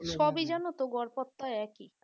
সবই জানো তো গড়পড়তা একই